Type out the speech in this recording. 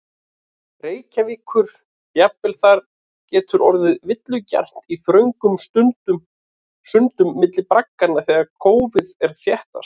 Reykjavíkur, jafnvel þar getur orðið villugjarnt í þröngum sundum milli bragganna þegar kófið er þéttast.